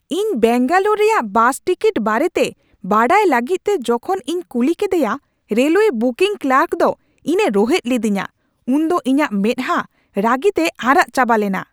ᱤᱧ ᱵᱮᱹᱝᱜᱟᱞᱳᱨ ᱨᱮᱭᱟᱜ bus ticket ᱵᱟᱨᱮᱛᱮ ᱵᱟᱰᱟᱭ ᱞᱟᱹᱜᱤᱫ ᱛᱮ ᱡᱚᱠᱷᱚᱱ ᱤᱧ ᱠᱩᱞᱤ ᱠᱮᱫᱮᱭᱟ ᱨᱮᱞ ᱳᱭᱮ ᱵᱩᱠᱤᱝ ᱠᱞᱟᱨᱠ ᱫᱚ ᱤᱧ ᱮ ᱨᱩᱦᱮᱫ ᱞᱤᱫᱤᱧᱟ ᱩᱱᱫᱚ ᱤᱧᱟᱹᱜ ᱢᱮᱫᱼᱟᱦᱟ ᱨᱟᱹᱜᱤᱛᱮ ᱟᱨᱟᱜ ᱪᱟᱵᱟ ᱞᱮᱱᱟ ᱾